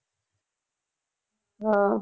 ਹਾਂ